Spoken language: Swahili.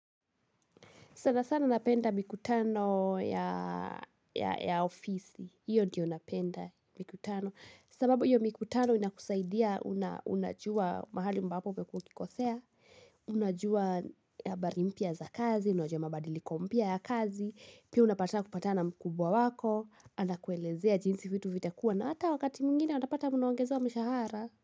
Sana sana napenda mikutano ya ofisi. Iyo diyo napenda mikutano. Sababu iyo mikutano inakusaidia unajua mahali ambapo ukukikosea. Unajua habarimpia za kazi. Unajua mabadili kompya ya kazi. Pia unapata kupata na mkubwa wako. Andakuelezea jinsi fitu vitakua. Na hata wakati mwingine unapata muna wangeza wa mshahara.